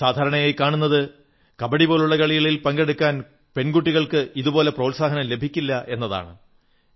സാധാരണയായി കാണുന്നത് കബഡി പോലുള്ള കളികളിൽ പങ്കെടുക്കാൻ പെൺകുട്ടികൾക്ക് ഇതുപോലെ പ്രോത്സാഹനം ലഭിക്കില്ല എന്നാണ്